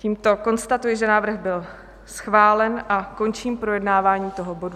Tímto konstatuji, že návrh byl schválen a končím projednávání tohoto bodu.